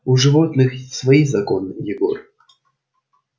у животных свои законы егор